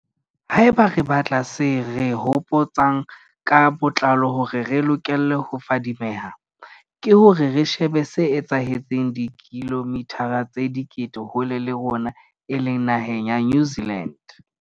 Haeba re batla se re hopo tsang ka botlalo hore re lokele ho fadimeha, ke hore re shebe se etsahetseng dikilomithara tse dikete hole le rona e leng naheng ya New Zealand.